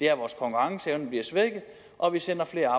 er at vores konkurrenceevne bliver svækket og at vi sender flere